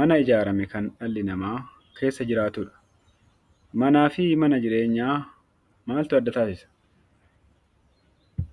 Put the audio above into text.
mana ijaarame kan dhalli namaa keessa jiraatuu dha. Manaa fi mana jireenyaa maaltu adda taasisa?